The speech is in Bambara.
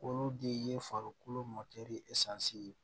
Olu de ye farikolo ye